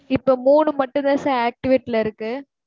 இப்ப, மூணு மட்டும்தான், sir, activate ல இருக்கு.